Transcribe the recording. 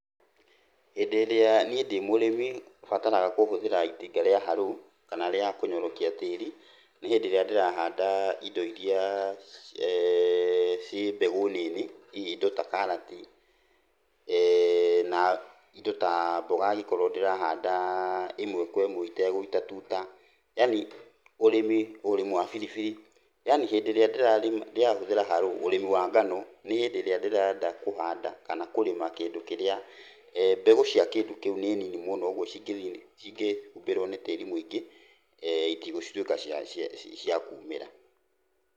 Hĩndĩ ĩrĩa niĩ ndĩ mũrĩmi bataraga kũhũthĩra itinga rĩa harũ kana rĩa kũnyorokia tĩiri nĩ hĩndĩ ĩrĩa ndĩrahanda indo iria ciĩ mbegũ nini, hihi indo ta karati, na indo ta mboga angĩkorwo ndĩrahanda ĩmwe kwa ĩmwe itegũita tuta, yaani, ũrĩmi, ũrĩmi wa biribiri, yaani hĩndĩ ĩrĩa ndĩrarĩma, ndĩrahũthĩra harũ ũrĩmi wa ngano, nĩ hĩndĩ ĩrĩa ndĩrenda kũhanda kana kũrĩma kĩndũ kĩrĩa mbegu cia kĩndũ kĩu nĩ nini mũno ũguo cingĩthiĩ, cingĩhumbĩrwo nĩ tĩiri mũingĩ itigũtuĩka cia, cia cia kuumĩra